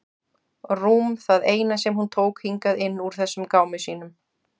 Rúm það eina sem hún tók hingað inn úr þessum gámi sínum.